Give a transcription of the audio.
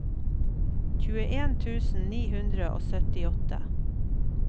tjueen tusen ni hundre og syttiåtte